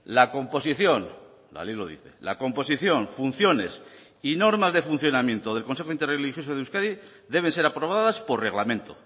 la composición la ley lo dice la composición funciones y normas de funcionamiento del consejo interreligioso de euskadi deben ser aprobadas por reglamento